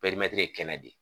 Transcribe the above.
ye kɛnɛ de.